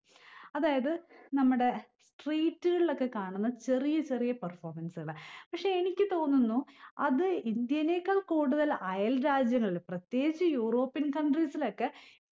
അതായത് നമ്മുടെ street കളിലൊക്കെ കാണുന്ന ചെറിയ ചെറിയ performance കളെ പക്ഷെ എനിക്ക് തോന്നുന്നു അത് ഇന്ത്യയിലേക്കാൾ കൂടുതൽ അയൽ രാജ്യങ്ങളില് പ്രത്യേകിച്ച് european countries ലൊക്കെ